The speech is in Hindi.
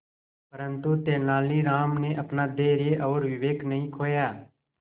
परंतु तेलानी राम ने अपना धैर्य और विवेक नहीं खोया